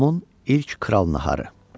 Tomun ilk kral naharı.